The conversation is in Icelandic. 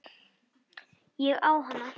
Ég á hana!